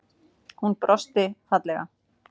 Hún brosti fallega.